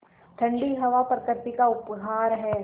ठण्डी हवा प्रकृति का उपहार है